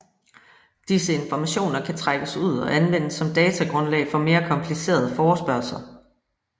Disse informationer kan trækkes ud og anvendes som datagrundlag for mere komplicerede forespørgsler